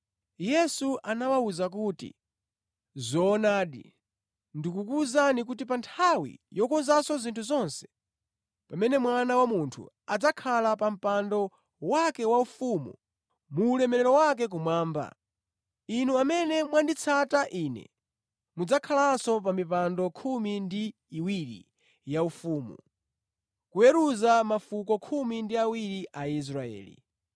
Yesu anawawuza kuti, “Zoonadi, ndikuwuzani kuti pa nthawi yokonzanso zinthu zonse, pamene Mwana wa Munthu adzakhala pa mpando wake waufumu mu ulemerero wake kumwamba, inu amene mwanditsata Ine mudzakhalanso pa mipando khumi ndi iwiri yaufumu, kuweruza mafuko khumi ndi awiri a Israeli.